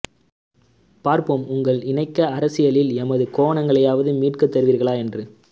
பார்ப்போம் உங்கள் இணக்க அரசியலில் எமது கோவணங்களையாவது மீட்டு தருவீர்களா என்று